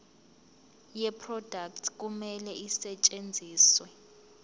yeproduct kumele isetshenziswe